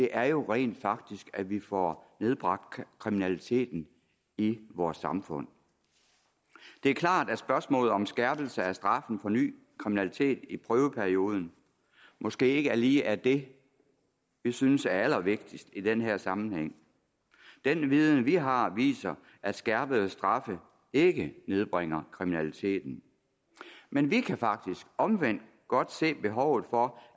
er jo rent faktisk at vi får nedbragt kriminaliteten i vores samfund det er klart at spørgsmålet om en skærpelse af straffen for ny kriminalitet i prøveperioden måske ikke lige er det vi synes er allervigtigst i den her sammenhæng den viden vi har viser at skærpede straffe ikke nedbringer kriminaliteten men vi kan faktisk omvendt godt se behovet for